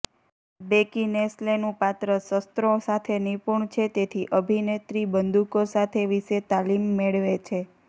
બેકિનેસ્લેનું પાત્ર શસ્ત્રો સાથે નિપુણ છે તેથી અભિનેત્રી બંદૂકો સાથે વિશેષ તાલીમ મેળવે છે